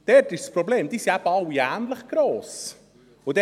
Dort ist das Problem, dass sie eben alle ähnlich gross sind.